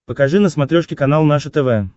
покажи на смотрешке канал наше тв